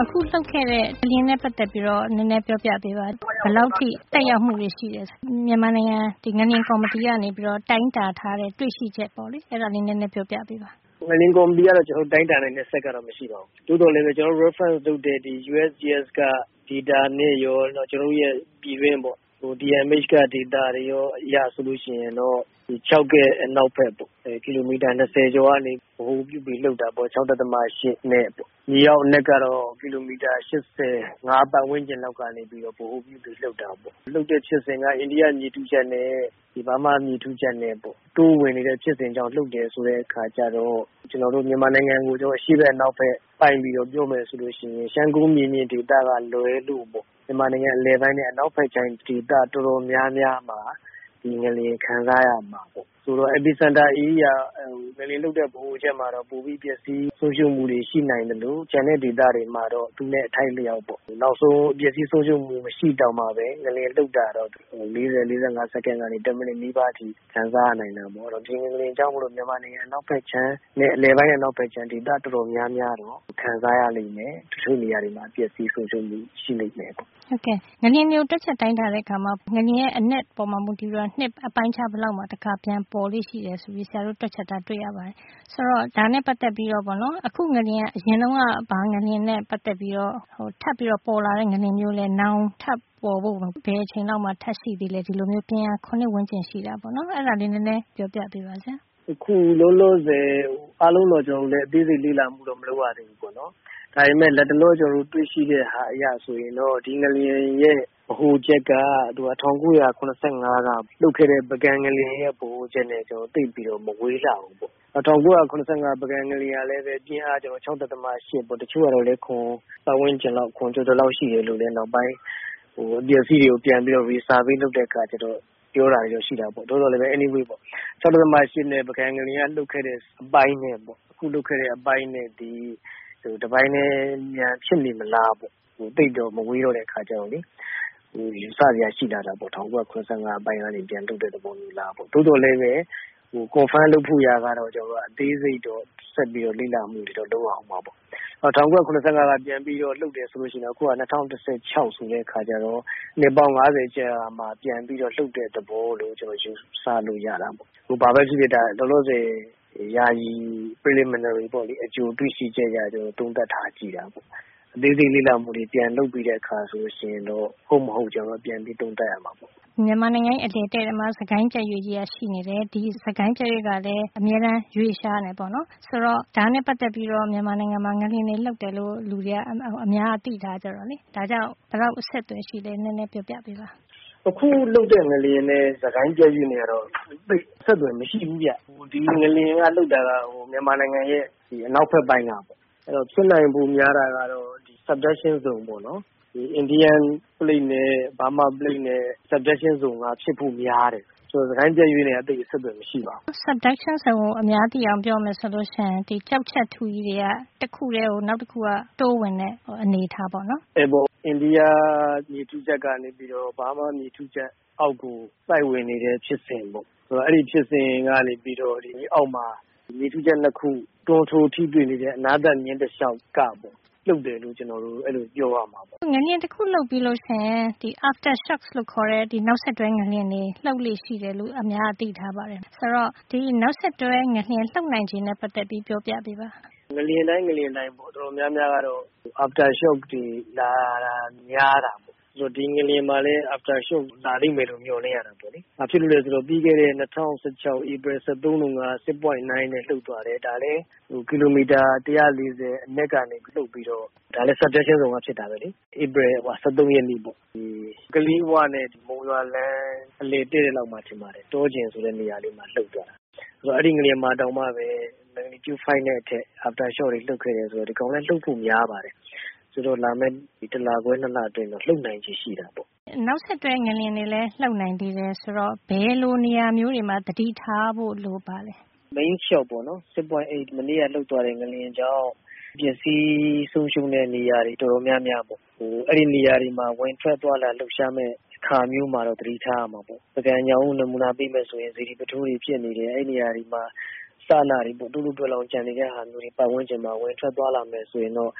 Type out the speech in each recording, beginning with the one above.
အခုလှုပ်ခဲ့တဲ့ ငလျင်နဲ့ ပါတ်သက်ပြီး ဘယ်လောက်အထိ သက်ရောက်မှုတွေ ရှိတယ် ဆိုတာ မြန်မာနိုင်ငံ ငလျင်ကော်မတီကနေ တိုင်းတာတွေ့ရှိထားတာတွေကို ဒေါက်တာမျိုးသန့် ပြောပြပေးပါ။ ငလျင်ကော်မတီကတော့ ကျွန်တော်တို့ တိုင်းတာနိုင်တဲ့ စက်ကတော့ မရှိပါဘူး။ သို့သော် ကျွန်တော်တို့ reference လုပ်တဲ့ USGS က data နဲ့ရော နောက် ကျွန်တော်တို့ ပြည်တွင်း DMH က data အရရော ဆိုလို့ရှိရင်တော့ ချောက်ရဲ့ အနောက်ဖက် ကီလိုမီတာ ၂၀ ကျော်ကနေ ဗဟိုပြုပြီး လှုပ်တာပေါ့။ ဒီ ပြင်းအား ၆.၈ နဲ့ မြေအောက် အနက်ကတော့ကီလိုမီတာ ၈၅ ပါတ်ဝန်းကျင်လောက်က နေပြီးတော့ ဗဟိုပြုပြီး လှုပ်တာပေါ့။ လှုပ်တဲ့ ဖြစ်စဉ်က အိန္ဒိယ မြေထုချပ်နဲ့ ဘားမား မြေထုချပ်နဲ့ပေါ့။ တိုးဝင်နေတဲ့ ဖြစ်စဉ်ကြောင့် လှုပ်တယ် ဆိုပြီးတဲ့ အခါကျတော့ ကျွန်တော်တို့ မြန်မာနိုင်ငံကို အရှှေ့ အနောက်နဲ့ ပြောရမယ်ဆိုရင် ရှမ်းကုန်းပြင်မြင့်ကလွဲပြီး မြန်မာနိုင်ငံ အလယ်နဲ့ အနောက်ဖက်ခြမ်း ဒေသ အတော်များများမှာ ဒီငလျင် ခံစားရမှာပေါ့။ ဆိုတော့ epicenter ဗဟိုချက် အနီးမှာတော့ ပိုပြီး ပျက်စီး ဆုံးရှုံးတာ ရှိနိုင်သလို ကျန်တဲ့ ဒေသတွေမှာတော့ သူနဲ့ အထိုက် အလျောက်ပေါ့။ နောက်ဆုံး ပျက်စီး ဆုံး ရှုံးမှု မရှိတောင်မှပဲ ငလျင် လှုပ်တာကိုတော့ ၄၀ - ၄၅ စက္ကန့် ကနေ တမိနစ် နီးပါး ခံစားရနိုင်တာပေါ့။ အဲဒီတော့ ဒီငလျင်ကြောင့် မြန်မာနိုင်ငံ အလယ်ပိုင်းနဲ့ အနောက်ဖက်ခြမ်း ဒေသ အတော်များများ ကတော့ ခံစားရလိမ့်မယ်။ တချို့နေရာတွေမှာတော့ ပျက်စီး ဆုံးရှုံးမှု ရှိလိမ့်မယ်ပေါ့။ ဟုတ်ကဲ့ ငလျင်တွေကို တွက်ချက် တိုင်းတာတဲ့ နေရာမှာ ငလျင်ရဲ့ အနက်ပေါ်မူတည် ပြီးတော့ နှစ် အပိုင်းအခြား ဘယ်လောက်မှာ ပြန်ပေါ်လေ့ရှိတယ် ဆိုပြီးတော့ တွက်ချက်တာ တွေ့ရပါတယ်။ ဆိုတော့ အခုငလျင်ဟာ အရင်က လှုပ်ခဲ့တဲ့ ဘယ်ငလျင်နဲ့ ပါတ်သက် ဆက်စပ်ပြီး ပေါ်တဲ့ ငလျင်မျိုးလဲ၊ နောင် ဘယ်အချိန်လောက်မှာ ထပ်ပြီး ဒီလို ပြင်းအား ၇ ဝန်းကျင်ရှိတာမျိုး ထပ်ပေါ်လာနိုင်သလဲ ဆိုတာ ပြောပြပေးပါ။ အခုလောလော ဆယ်မှာ အသေးစိတ်တော့ ကျွန်တော်တို့ လေ့လာမှု မလုပ်ရ သေးဘူး ပေါ့နော်။ ဒါပေမယ့် လတ်တလော ကျွန်တော်တို့ တွေ့ရှိတာ အရ ဆိုရင်တော့ ဒီငလျင်ရဲ့ ဗဟိုချက်က ၁၉၇၅ ကလှုပ်ခဲ့တဲ့ ပုဂံငလျင် ရဲ့ ဗဟိုချက်နဲ့ သိပ်ပြီးတော့ မဝေးလှဘူးပေါ့။ ကျွန်တော်တို့ ၁၉၇၅ ပုဂံငလျင်ကလည်းပဲ ပြင်းအားက ၆.၈ ပေါ့။ ကျွန်တော်တို့ တချို့က ၇ ပါတ်ဝန်းကျင် ၇ ကျော်ကျော်လောက် ရှိတယ်လို့ နောက်ပိုင်း အပျက်အစီး တွေကို resurvey ပြန်တိုင်းတာတဲ့ အခါ ပြောတာတွေတော့ ရှိတယ်ပေါ့။ သို့သော်လည်း ဘာပဲ ဖြစ်ဖြစ်ပေါ့လေ၊ အခုဒီ ၆.၈ ငလျင်လှုပ်သွားတဲ့ အပိုင်းနဲ့ ပုဂံငလျင် လှုပ်ခဲ့တဲ့ အပိုင်းနဲ့ သိပ် မဝေးတဲ့ အခါကျတော့ တပိုင်းထဲများ ဖြစ်နေသလား လို့ ယူဆစရာ ရှိလာတာပေါ့၊ ဒီ ၁၉၇၅ ကလှုပ်ခဲ့တဲ့ အပိုင်းများလားပေါ့။ သို့သော်လည်း confirm လုပ်ဖို့ရာ ကျတော့ အသေးစိတ်ကို ဆက်ပြီးတော့ လေ့လာမှုတွေ လုပ်ရအုံးမှာ ပေါ့။ တကယ်လို့ ၁၉၇၅ ခုကို မှီပြီး လှုပ်တယ် ဆိုရင် အခုက ၂၀၁၆ ဆိုတော့ နှစ်ပေါင်း ၅၀ ကျော်မှာ ပြန်ပြီးတော့ လှုပ်တယ်လို့ ယူဆရတာပေါ့။ ဘာပဲပြောပြော အခု ယာယီ preliminary အကြိုတွေ့ရှိချက်အရ သုံးသပ် ကြည့်ရတာပါ။ လေ့လာမှုတွေ ပြန်လုပ်ပြီးတဲ့ အခါဆိုရင်တော့ ဟုတ်မဟုတ် ပြန်ပြီး သုံးသပ်ရမှာပေါ။ မြန်မာနိုင်ငံရဲ့ အလယ်တဲ့တဲ့မှာ စစ်ကိုင်း ပြတ်ရွေ့ကြီးက ရှိနေတယ်။ ဒီစစ်ကိုင်းပြတ်ရွေ့ကလည်း အမြဲရွေ့လျားနေတယ်၊ ဒါနဲ့ပါတ်သက်ပြီး မြန်မာနိုင်ငံမှာ ငလျင်တွေလှုပ်လေ့ရှိတယ်လို့ လူအတော်များများက အများက သိထားကြတာကြောင့် ဒါနဲ့ ဘယ်လောက် အဆက်အသွယ် ရှိလဲ ပြောပြပေးပါ။ အခုလှုပ်တဲ့ ငလျင်နဲ့ စစ်ကိုင်း ပြတ်ရွေ့နဲ့ကတော့ သိပ် အဆက်အသွယ် မရှိဘူးဗျ။ ဒီငလျင် လှုပ်တာက မြန်မာနိုင်ငံရဲ့ အနောက်ဖက် ပိုင်းက။ ဒီဖြစ်နိုင်ချေ ပိုများတာက subduction zone ပေါ့နော်။ ဒီ Indian plate နဲ့ Burma plate နဲ့ subduction က ဖြစ်ဖို့ ပိုများတယ်။ စစ်ကိုင်းပြတ်ရွေ့နဲ့က အဆက်အသွယ် မရှိပါဘူး။ subduction zone ဆိုတာက ကျောက်ချပ်ထုကြီးတွေ တခုထဲကို နောက်တခုက တိုးဝင်တဲ့ အနေအထား ပေါ့နော်။ ဟုတ်တယ် အဲဒီ အင်ဒီးယား မြေထုချပ်က ဘားမား မြေထုချပ်အောက်ကို စိုက်ဝင် နေတဲ့ ဖြစ်စဉ်ပေါ့။ဆိုတော့ အဲဒီဖြစ်စဉ်ကနေပြီးတော့ ဒီမြေအောက်မှာ မြေထုချပ် ၂ ခု တွန်းထိုး ထိတွေ့နေတဲ့ အနားသတ် မျဉ်းတလျောက်က လှုပ်တယ်လို့ ကျွန်တော်တို့ အဲဒီလို ပြောရမှာပေါ့။ ငလျင်တခု လှုပ်ပြီးရင် aftershocks လို့ခေါ်တဲ့ နောက်ဆက်တွဲ ငလျင်တွေ လှုပ်လေ့ရှိတယ်လို့ အများက သိထားပါတယ်။ ဒီ ငလျင်ရဲ့ နောက်ဆက်တွဲ ငလျင် လှုပ်နိုင်ချေနဲ့ပါတ်သက်ပြီး ပြောပြပေးပါ။ ငလျင်တိုင်း ငလျင်းတိုင်းကတော့ အတော်များများကတော့ aftershocks တွေ လာတာများတာပေါ့။ ဒီငလျင်မှာလည်း aftershocks လာလိမ့်မယ်လို့ မေ ျှာ်လင့်ရတာပေါ့။ ဘာလို့လည်း ဆိုတော့ ပြီးခဲ့တဲ့ ၂၀၁၆ ဧပြီ ၁၃ တုန်းက ၆.၉ နဲ့လှုပ်သွားတယ်။ ဒာကလည်း ကီလိုမီတာ ၁၄၀ အနက်ကနေ လှုပ်ပြီးတော့ ဒါကလည်း subduction zone ကနေ ဖြစ်တာပဲလေ။ ဧပြီလ ၁၃ ရက်နေ့ပေါ့။ ကလေးဝနဲ့ မုံရွာလမ်း အလယ်တဲ့တဲ့ လောက်မှာ ထင်ပါတယ်။ တောကျယ် ဆိုတဲ့ နေရာလေးမှာ လှုပ်သွားတာ။ ဆိုတော့ အဲဒီ ငလျင်မှာ တောင်မှပဲ ပြင်းအား ၅ နဲ့အထက် နောက်ဆက်တွဲငလျင်တွေ လှုပ်ခဲ့တယ် ဆိုတော့ သူလဲ လှုပ်ဖို့ များပါတယ်။ ဒီတလခွဲ ၂ လအတွင်းတော့ လှုပ်နိုင်ချေ ရှိတာပေါ့။ အခုလို နောက်ဆက်တွဲ ငလျင်တွေ လှုပ်နိုင်သေးတယ် ဆိုတော့ ဘယ်လိုနေရာမျိုးတွေမှာ သတိထားဖို့ လိုပါသလဲ mainshock ပေါ့နော ၆.၈ မနေ့က လှုပ်သွားတဲ့ ငလျင်ကြောင့် ပျက်စီး ဆုံးရှုံးရတဲ့ နေရာတွေ တော်တော်များများပေါ့။ အဲဒီနေရာတွေမှာ ဝင်ထွက် သွားလာတဲ့ အခါမျိုးမှာ သတိထား ရမှာပေါ့။ ပုဂံညောင်ဦး ကို နမူနာ ပေးမယ် ဆိုရင် စေတီပုထိုးတွေ ပြိုပျက်နေတယ်။ အဲဒီနေရာတွေမှာ အစအနေတွေ တို့လို့တွဲလောင်း ကျန်နေတဲ့ နေရာတွေရှိတယ်။ အဲဒီနေရာတွေမှာ ဝင်ထွက် သွားလာမယ် ဆိုရင်တော့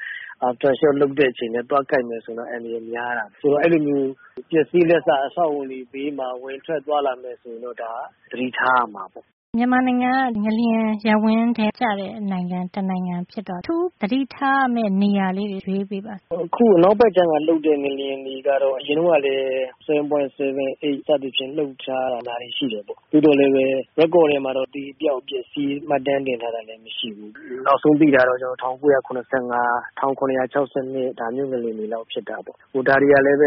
aftershock လှုပ်တဲ့ အချိန်နဲ့ သွားကိုက်နေမယ် ဆိုရင် အန္တရာယ် များတာပေါ့။ ဆိုတော့ အဲဒီနေရာမျိုးတွေ ပျက်စီးလက်စ အဆောက်အအုံတွေ နားမှာ ဝင်ထွက် သွားလာမယ် ဆိုရင် သတိထားရမှာပေါ့။ မြန်မာနိုင်ငံက ငလျင်ရပ်ဝန်းထဲ ကျတဲ့ နိုင်ငံ တနိုင်ငံ ဖြစ်တော့ အထူးသတိထားဖို့ လိုတဲ့ နေရာလေးတွေ ရွေးပေးပါ။ အခု အနောက်ဖက် ခြမ်းက လှုပ်တဲ့ ငလျင်တွေ ကတော့ အရင်တုန်းကလည်း ၇.၇ တို့ ၈ တို့ စသည်ဖြင့် လှုပ်ထားတာတွေ ရှိတယ်။ သို့သော်လည်း မှတ်တမ်းထဲမှာ အသေအပျောက် အပျက်အစီး မှတ်တမ်းတင်ထားတာ မရှိဘူး။ နောက်ဆုံး သိတာက ၁၉၇၅ ၊ ၁၇၆၂ ခု ဒါမျိုးငလျင်တွေ လောက် ဖြစ်တာပေါ့။ ဒါတွေကလည်း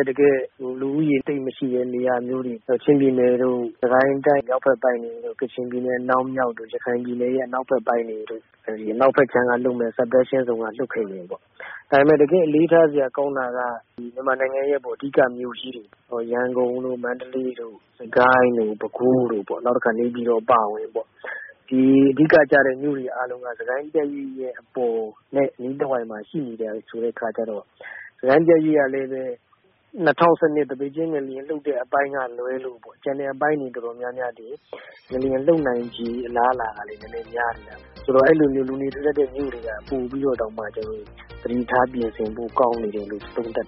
လူဦးရေ သိပ်မရှိတဲ့ နေရာမျိုးတွေ ချင်းပြည်နယ်တို့၊ စစ်ကိုင်းတိုင်း မြောက်ဖက်ပိုင်းတွေတို့၊ ကချင်ပြည်နယ် အနောက်မြောက်တို့ နောက် ရခိုင်ပြည်နယ်ရဲ့ အနောက်ဖက် ပိုင်းတွေတို့ ဟာ ဒီ အနောက်ဖက်ပိုင်းက subduction zone က လှုပ်ခဲ့မယ် ဆိုရင်ပေါ့လေ။ ဒါပေမယ့် တကယ် အလေ့ထားစရာ ကောင်းတာက မြန်မာနိုင်ငံရဲ့ အဓိက မြို့ကြီးတွေ ရန်ကုန်တို့ မန္တလေးတို့ စစ်ကိုင်းတို့ ပဲခူးတို့ပေါ့ နောက်တခါ နေပြည်တော် အပါအဝင်ပေါ့။ ဒီ အဓိကကျတဲ့ မြို့တွေ အားလုံးက ဒီစစ်ကိုင်း ပြတ်ရွေ့ အပေါ်နဲ့အနီးတဝိုက်မှာ ရှိနေကြတဲ့ အခါကျတော့။ နောက် ဒီ စစ်ကိုင်း ပြတ်ရွေ့ကလည်းပဲ ၂၀၁၂ သပိတ်ကျင်း ငလျင်လှုပ်တဲ့ အပိုင်းကလွဲလို့ ကျန် အပိုင်းတွေ ဟာ ငလျင်လှုပ်နိုင်ချေ အလားအလာ များပါတယ်။ ဆိုတော့ အဲဒီ လူနေထူထပ်တဲ့ မြို့တွေက ပိုပြီးတော့ တောင် သတိထား ပြင်ဆင်ဖို့ ကောင်းတယ်လို့ သုံးသပ်